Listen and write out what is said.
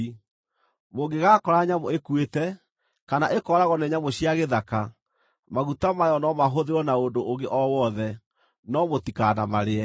Mũngĩgaakora nyamũ ĩkuĩte, kana ĩkooragwo nĩ nyamũ cia gĩthaka, maguta mayo no mahũthĩrwo na ũndũ ũngĩ o wothe, no mũtikanamarĩe.